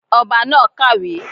Ọba náà kàwé